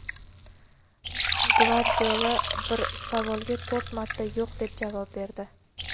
Gvardiola bir savolga to‘rt marta yo‘q deb javob berdi.